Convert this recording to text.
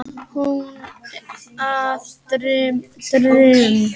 Hún ber að dyrum.